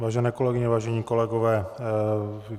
Vážené kolegyně, vážení kolegové.